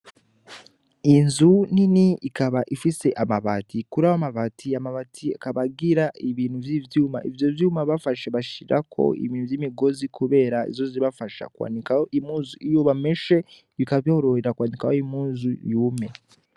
Inzu ni ni ikaba ifise amabati kuri awo amabati amabati akabagira ibintu vy'ivyuma ivyo vyuma bafashe bashirako ibintu vy'imigozi, kubera izozibafasha kwanikaw imuzu iyuma meshe bikabororera kwandika wo imuzu yume.